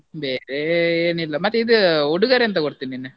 ಬೇರೆ ಏನಿಲ್ಲ, ಮತ್ತೆ ಇದ್ ಉಡುಗೊರೆ ಎಂತ ಕೊಡ್ತಿ ನೀನ್?